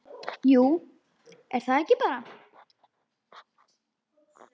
Jú, er það ekki bara?